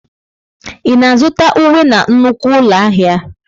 Ị na-azụta uwe na nnukwu ụlọ ahịa?